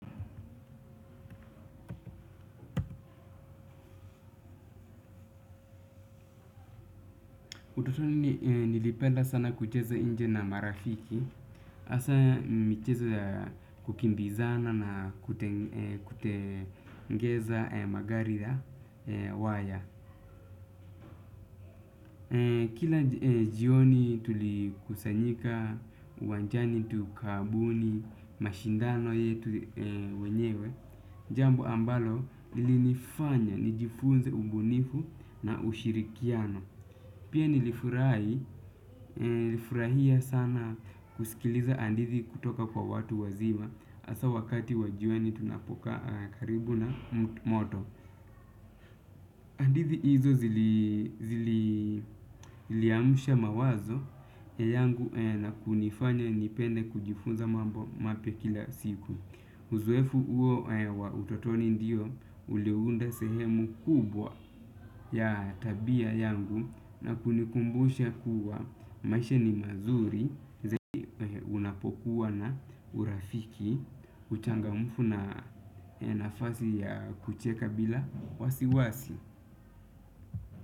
Utotoni nilipenda sana kucheza nje na marafiki. Asa michezo ya kukimbizana na kutengeza magari na waya. Kila jioni tulikusanyika, uwanjani tukabuni, mashindano yetu wenyewe. Jambo ambalo lilinifanya nijifunze ubunifu na ushirikiano. Pia nilifurai, nilifurahia sana kusikiliza hadithi kutoka kwa watu wazima asa wakati wa jioni tunapokaa karibu na moto. Hadithi hizo ziliamsha mawazo yangu na kunifanya nipende kujifunza mambo mapya kila siku. Uzoefu uo wa utotoni ndiyo uliounda sehemu kubwa ya tabia yangu na kunikumbusha kuwa maisha ni mazuri unapokuwa na urafiki, uchangamfu na nafasi ya kucheka bila wasiwasi.